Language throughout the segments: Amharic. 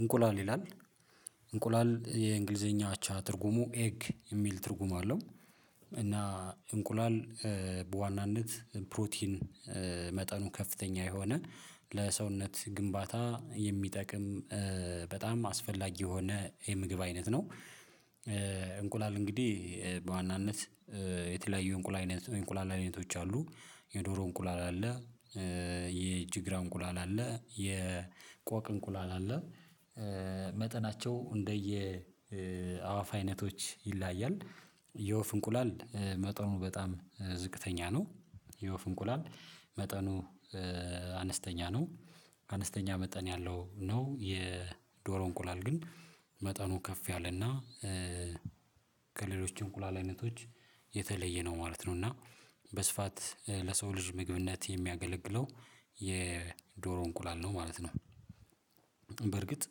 እንቁላል ይላል እንቁላል የእንግሊዘኛ አቻ ትርጉሙ ኤግ የሚል ትርጉም አለው እና እንቁላል በዋናነት ፕሮቲን መጠኑ ከፍተኛ የሆነ ለሰውነት ግንባታ የሚጠቅም በጣም አስፈላጊ የሆነ የምግብ አይነት ነው። እንቁላል እንግዲህ በዋናነት የተለያዩ እንቁላል አይነት እንቁላል አይነቶች አሉ የዶሮ እንቁላል አለ የእጅግራ እንቁላል አለ የቆቅ እንቁላል አለ። መጠናቸው እንደየ አዋፍ አይነቶች ይለያያል የወፍ እንቁላል መጠኑ በጣም ዝቅተኛ ነው። የወፍ እንቁላል መጠኑ አነስተኛ መጠን ያለው ነው የዶሮ እንቁላል ግን መጠኑ ከፍ ያለና ከሌሎች እንቁላል አይነቶች የተለየ ነው ማለት ነው። እና በስፋት ለሰው ልጅ ምግብነት የሚያገለግለው የዶሮ እንቁላል ነው ማለት ነው። በእርግጥ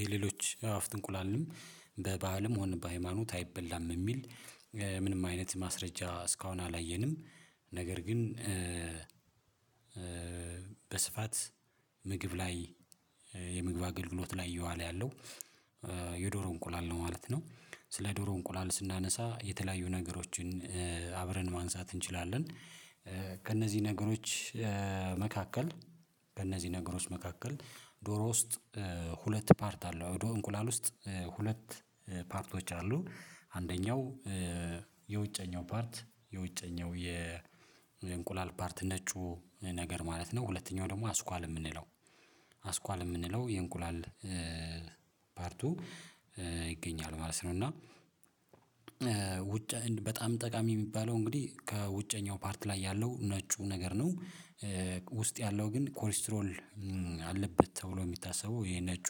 የሌሎች አዋፍት እንቁላልንም በባህልም ሆነም በሃይማኖት አይበላም የሚል ምንም አይነት ማስረጃ እስካሁን አላየንም። ነገር ግን በስፋት ምግብ ላይ የምግብ አገልግሎት ላይ የዋለ ያለው የዶሮ እንቁላል ነው ማለት ነው። ስለ ዶሮ እንቁላል ስናነሳ የተለያዩ ነገሮችን አብረን ማንሳት እንችላለን ከእነዚህ ነገሮች መካከል በእነዚህ ነገሮች መካከል ዶሮ ውስጥ ሁለት ፓርት አለው እንቁላል ውስጥ ሁለት ፓርቶች አሉ አንደኛው የውጨኛው ፓርት የውጨኛው የእንቁላል ፓርት ነጩ ነገር ማለት ነው ሁለተኛው ደግሞ አስኳል የምንለው አስኳል የምንለው የእንቁላል ፓርቱ ይገኛል ማለት ነው። እና ውጭ በጣም ጠቃሚ የሚባለው እንግዲህ ከውጨኛው ፓርት ላይ ያለው ነጩ ነገር ነው። ውስጥ ያለው ግን ኮሌስትሮል አለበት ተብሎ የሚታሰበው የነጩ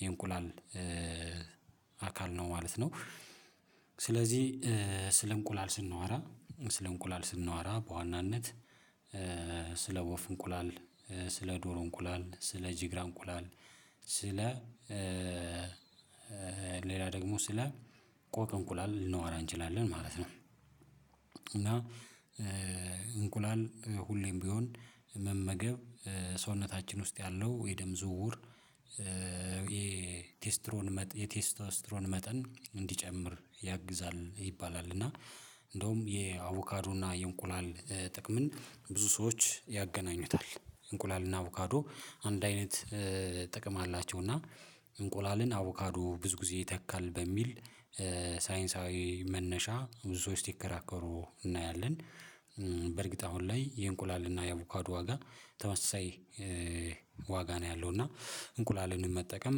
የእንቁላል አካል ነው ማለት ነው። ስለዚህ ስለ እንቁላል ስናወራ ስለ እንቁላል ስናወራ በዋናነት ስለ ወፍ እንቁላል ስለ ዶሮ እንቁላል ስለ ጂግራ እንቁላል ስለ ሌላ ደግሞ ስለ ቆቅ እንቁላል ልናወራ እንችላለን ማለት ነው። እና እንቁላል ሁሌም ቢሆን መመገብ ሰውነታችን ውስጥ ያለው የደም ዝውውር የቴስትሮን የቴስቶስትሮን መጠን እንዲጨምር ያግዛል ይባላል እና እንደውም የአቮካዶና የእንቁላል ጥቅምን ብዙ ሰዎች ያገናኙታል እንቁላልና አቮካዶ አንድ አይነት ጥቅም አላቸው እና እንቁላልን አቮካዶ ብዙ ጊዜ ይተካል በሚል ሳይንሳዊ መነሻ ብዙ ሰዎች ሲከራከሩ እናያለን በእርግጥ አሁን ላይ የእንቁላል እና የአቮካዱ ዋጋ ተመሳሳይ ዋጋ ነው ያለው እና እንቁላልንም መጠቀም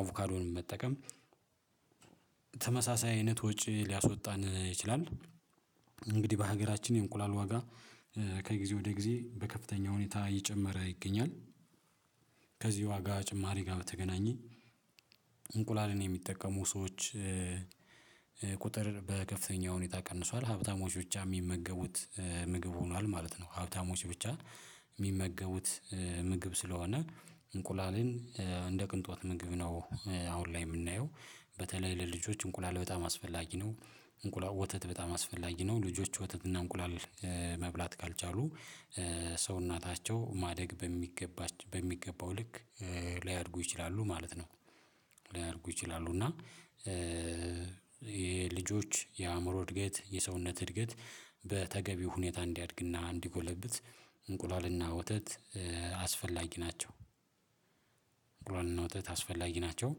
አቮካዶንም መጠቀም ተመሳሳይ አይነት ወጪ ሊያስወጣን ይችላል። እንግዲህ በሀገራችን የእንቁላል ዋጋ ከጊዜ ወደ ጊዜ በከፍተኛ ሁኔታ እየጨመረ ይገኛል። ከዚህ ዋጋ ጭማሪ ጋር በተገናኘ እንቁላልን የሚጠቀሙ ሰዎች ቁጥር በከፍተኛ ሁኔታ ቀንሷል ሀብታሞች ብቻ የሚመገቡት ምግብ ሆኗል ማለት ነው። ሀብታሞች ብቻ የሚመገቡት ምግብ ስለሆነ እንቁላልን እንደ ቅንጦት ምግብ ነው አሁን ላይ የምናየው በተለይ ለልጆች እንቁላል በጣም አስፈላጊ ነው። እንቁላል ወተት በጣም አስፈላጊ ነው ልጆች ወተትና እንቁላል መብላት ካልቻሉ ሰውናታቸው ማደግ በሚገባ በሚገባው ልክ ላያድጉ ይችላሉ ማለት ነው። ላያድጉ ይችላሉ እና የልጆች የአእምሮ እድገት የሰውነት እድገት በተገቢው ሁኔታ እንዲያድግና እንዲጎለብት እንቁላልና ወተት አስፈላጊ ናቸው። እንቁላልና ወተት አስፈላጊ ናቸው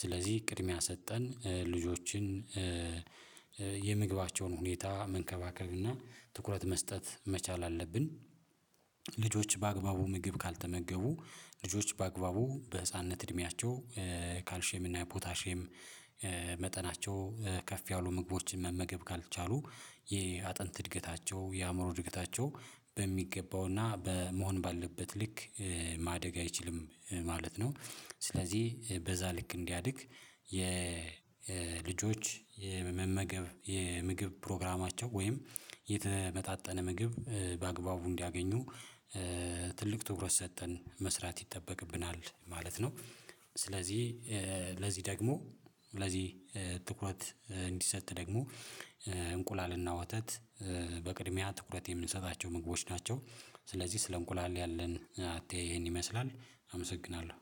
ስለዚህ ቅድሚያ ሰጠን ልጆችን የምግባቸውን ሁኔታ መንከባከብና ትኩረት መስጠት መቻል አለብን። ልጆች በአግባቡ ምግብ ካልተመገቡ ልጆች በአግባቡ በህፃንነት እድሜያቸው ካልሽየም እና ፖታሽየም መጠናቸው ከፍ ያሉ ምግቦችን መመገብ ካልቻሉ የአጥንት እድገታቸው የአእምሮ እድገታቸው በሚገባውና በመሆን ባለበት ልክ ማደግ አይችልም ማለት ነው። ስለዚህ በዛ ልክ እንዲያድግ የልጆች የመመገብ የምግብ ፕሮግራማቸው ወይም የተመጣጠነ ምግብ በአግባቡ እንዲያገኙ ትልቅ ትኩረት ሰጠን መስራት ይጠበቅብናል ማለት ነው። ስለዚህ ለዚህ ደግሞ ለዚህ ትኩረት እንዲሰጥ ደግሞ እንቁላልና ወተት በቅድሚያ ትኩረት የምንሰጣቸው ምግቦች ናቸው። ስለዚህ ስለ እንቁላል ያለን አተያይ ይሄን ይመስላል። አመሰግናለሁ